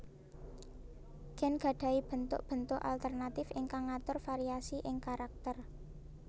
Gèn gadahi béntuk béntuk alternatif ingkang ngatur variasi ing karakter